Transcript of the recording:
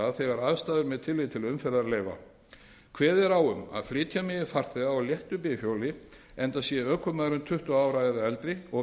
stað þegar aðstæður með tilliti til umferðar leyfa kveðið er á um að flytja megi farþega á léttu bifhjóli enda sé ökumaðurinn tuttugu ára eða eldri og